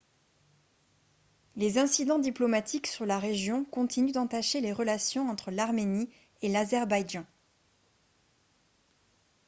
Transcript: les incidents diplomatiques sur la région continuent d'entacher les relations entre l'arménie et l'azerbaïdjan